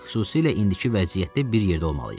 Xüsusilə indiki vəziyyətdə bir yerdə olmalıyıq.